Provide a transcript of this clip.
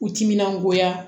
U timinan goya